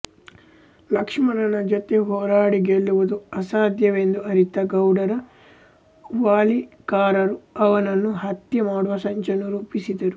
ಲಕ್ಷ್ಮಣನ ಜೊತೆ ಹೋರಾಡಿ ಗೆಲ್ಲುವದು ಅಸಾಧ್ಯವೆಂದು ಅರಿತ ಗೌಡರ ವಾಲಿಕಾರರು ಅವನನ್ನು ಹತ್ಯೆ ಮಾಡುವ ಸಂಚನ್ನು ರೂಪಿಸಿದರು